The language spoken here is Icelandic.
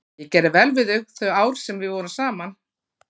Ég gerði vel við þig þau ár sem við vorum saman.